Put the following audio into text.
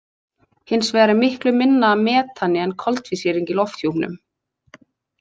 Hins vegar er miklu minna af metani en koltvísýringi í lofthjúpnum.